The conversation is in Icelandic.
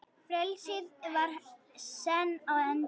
Frelsið var senn á enda.